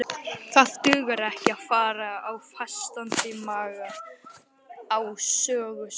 Það dugar ekki að fara á fastandi maga á söguslóðir.